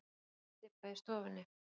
Reykjarstybba í stofunni.